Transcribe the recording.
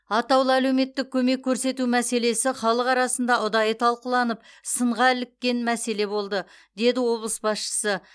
атаулы әлеуметтік көмек көрсету мәселесі халық арасында ұдайы талқыланып сынға іліккен мәселе болды деді облыс басшысы